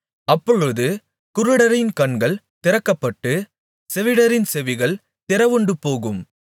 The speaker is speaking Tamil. அப்பொழுது குருடரின் கண்கள் திறக்கப்பட்டு செவிடரின் செவிகள் திறவுண்டுபோகும்